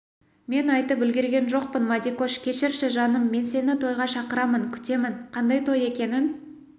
мен айтып үлгерген жоқпын мадикош кешірші жаным мен сені тойға шақырамын күтемін қандай той екенін